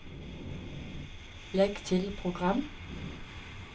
legg til program